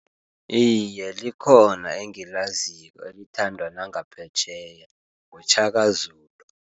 Iiye, likhona engilaziko elithandwa nangaphetjheya nguShaka Zulu.